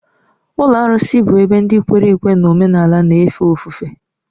Ụlọ arụsị bụ ebe ndị kwere ekwe n'omenala na-efe ofufe.